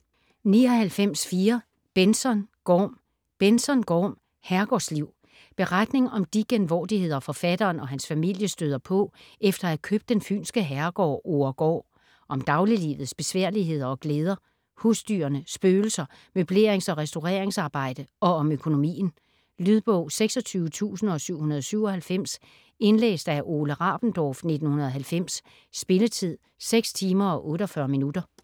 99.4 Benzon, Gorm Benzon, Gorm: Herregårdsliv Beretning om de genvordigheder forfatteren og hans familie støder på efter at have købt den fynske herregård Oregård; om dagliglivets besværligheder og glæder, husdyrene, spøgelser, møblerings- og restaureringsarbejde og om økonomien. Lydbog 26797 Indlæst af Ole Rabendorf, 1990. Spilletid: 6 timer, 48 minutter.